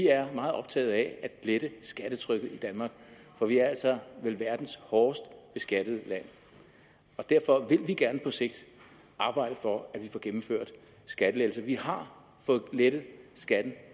er meget optaget af at lette skattetrykket i danmark for vi er vel verdens hårdest beskattede land derfor vil vi gerne på sigt arbejde for at vi får gennemført skattelettelser vi har fået lettet skatten